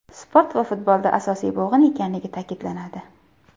Sport va futbolda asosiy bo‘g‘in ekanligi ta’kidlanadi.